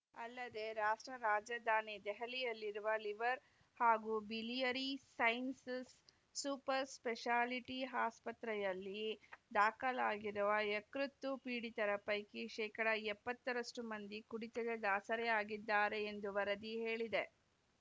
ಅಲ್ಲದೆ ರಾಷ್ಟ್ರ ರಾಜಧಾನಿ ದೆಹಲಿಯಲ್ಲಿರುವ ಲಿವರ್‌ ಹಾಗೂ ಬಿಲಿಯರಿ ಸೈನ್ಸಸ್‌ ಸೂಪರ್‌ ಸ್ಪೆಷಾಲಿಟಿ ಆಸ್ಪತ್ರೆಯಲ್ಲಿ ದಾಖಲಾಗಿರುವ ಯಕೃತ್ತು ಪೀಡಿತರ ಪೈಕಿ ಶೇಕಡಾ ಎಪ್ಪತ್ತರಷ್ಟುಮಂದಿ ಕುಡಿತದ ದಾಸರೇ ಆಗಿದ್ದಾರೆ ಎಂದು ವರದಿ ಹೇಳಿದೆ